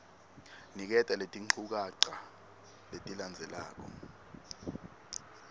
niketa letinchukaca letilandzelako